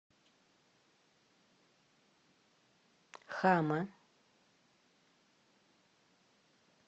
хама